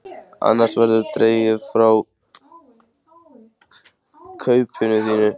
Annars verður dregið frá kaupinu þínu.